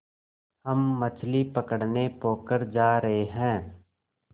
हम मछली पकड़ने पोखर जा रहें हैं